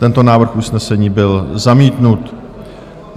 Tento návrh usnesení byl zamítnut.